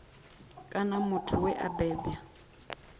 kana muthu we a bebwa